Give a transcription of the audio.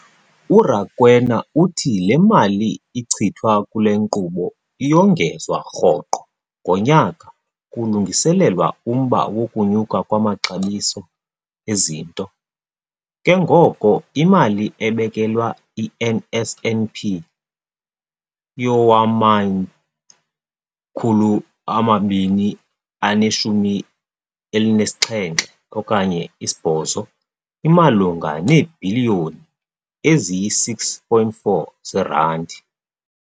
URakwena uthi le mali ichithwa kule nkqubo iyongezwa rhoqo ngonyaka kulungiselelwa umba wokunyuka kwamaxabiso ezinto, ke ngoko imali ebekelwe i-NSNP yowama-2017 okanye 8 imalunga neebhiliyoni eziyi-6.4 zeerandi.